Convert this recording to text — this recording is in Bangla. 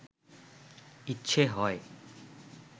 ইচ্ছে হয়